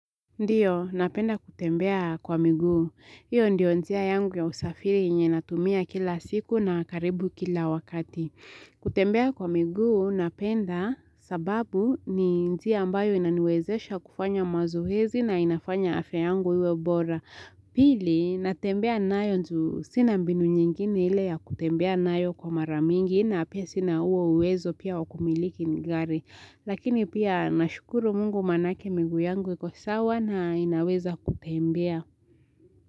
Ndiyo, napenda kutembea kwa miguu. Hiyo ndiyo njia yangu ya usafiri yenye natumia kila siku na karibu kila wakati. Kutembea kwa miguu napenda sababu ni njia ambayo inaniwezesha kufanya mazoezi na inafanya afya yangu iwe bora. Pili, natembea nayo juu sina mbinu nyingini ile ya kutembea nayo kwa mara mingi na pia sina huo uwezo pia wa kumiliki gari. Lakini pia nashukuru mungu maanake miguu yangu iko sawa na inaweza kutembea.